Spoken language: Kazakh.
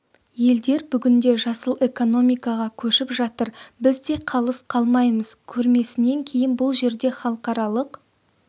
елдер бүгінде жасыл экономикаға көшіп жатыр біз де қалыс қалмаймыз көрмесінен кейін бұл жерде халықаралық